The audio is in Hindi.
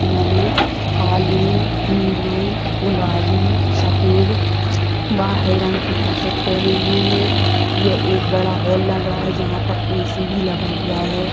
उन्होंने काले नीले गुलाबी सफेद व हरे रंग की टी-शर्ट पहने हुए हैं ये एक बडा हॉल लग रहा है जहाँ पर ए.सी. भी लगा हुआ है।